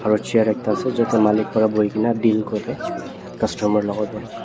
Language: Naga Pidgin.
aro chair ekta ase chuto malik bara buikina deal kuri customer lokot teh.